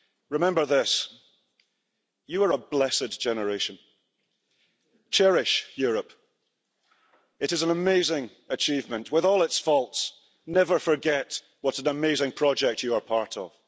Remember this you are a blessed generation. Cherish Europe. It is an amazing achievement. With all its faults, never forget what an amazing project you are part of.